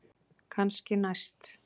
Kannski næst.